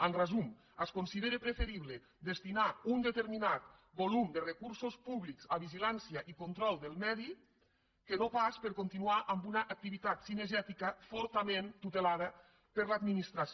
en resum es considera preferible destinar un determi·nat volum de recursos públics a vigilància i control del medi que no pas per continuar amb una activitat cine·gètica fortament tutelada per l’administració